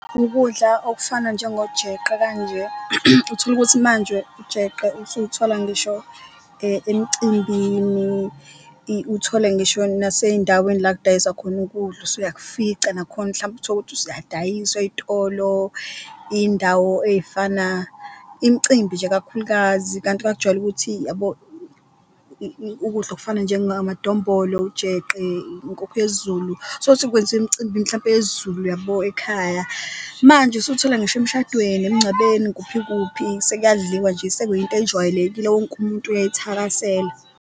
Ukudla okufana njengojeqe kanje utholukuthi manje ujeqe usuwuthola ngisho emcimbini, uthole ngisho naseyindaweni la okudayiswa khona ukudla usuyakufica nakhona, mhlawumbe utholukuthi asuyadayiswa ey'tolo, iy'ndawo ey'fana imicimbi nje, kakhulukazi. Kanti kwakujwayele ukuthi ukudla okufana namadombolo, ujeqe, inkukhu yesiZulu tholukuthi kwenziwa emcimbini yesiZulu uyabo ekhaya. Manje usuthola ngisho emshadweni, emncwabeni kuphi kuphi sekuyadliwa nje sekuyinto ejwayelekile wonke umuntu uyayithakasela.